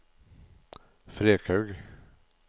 Frekhaug